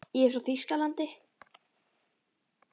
Ég er frá Þýskalandi.